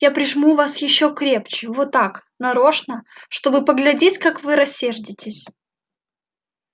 я прижму вас ещё крепче вот так нарочно чтобы поглядеть как вы рассердитесь